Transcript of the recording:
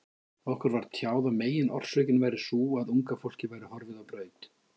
Okkur var tjáð að meginorsökin væri sú, að unga fólkið væri horfið á braut.